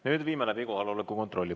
Nüüd viime läbi kohaloleku kontrolli.